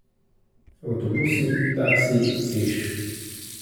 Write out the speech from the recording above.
Avtobusi, taksiji, peš?